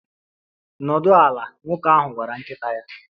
Nọdụ ala, nwoke ahụ gwara nkịta ya.